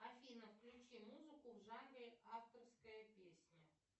афина включи музыку в жанре авторская песня